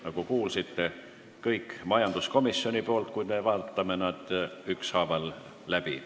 Nagu kuulsite, on kõik majanduskomisjonilt, kuid vaatame need ükshaaval läbi.